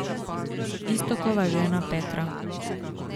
Iztokova žena Petra.